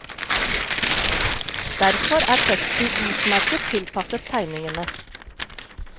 Derfor er teksten utmerket tilpasset tegningene.